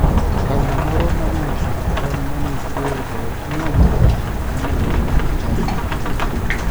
Kanyna moro ma ne ochodo tol mane otweyego ne omonjo ji mane romo e chadi.